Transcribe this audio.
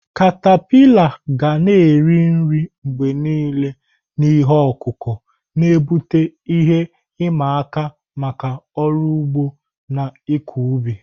katapila ga na-eri nri mgbe niile na ihe ọkụkụ, na-ebute ihe ịma aka maka ọrụ ugbo na ịkọ ubi.